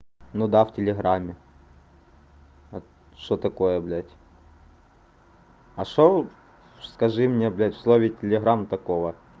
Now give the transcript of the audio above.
ну да в телеграмме а что такое блять а что вы скажи мне блять в слове телеграмм такого